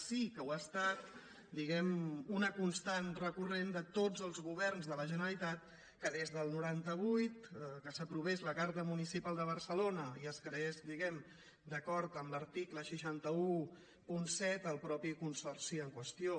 sí que ho ha estat di·guem·ne una constant recurrent de tots els governs de la generalitat que des del noranta vuit que s’aprovés la carta municipal de barcelona i es creés diguem·ne d’acord amb l’article sis cents i disset el mateix consorci en qüestió